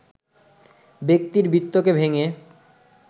ব্যক্তির বৃত্তকে ভেঙে